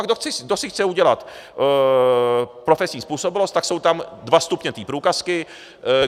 A kdo si chce udělat profesní způsobilost, tak jsou tam dva stupně té průkazky.